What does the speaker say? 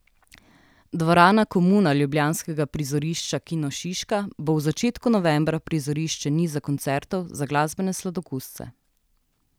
Dvorana Komuna ljubljanskega prizorišča Kino Šiška bo v začetku novembra prizorišče niza koncertov za glasbene sladokusce.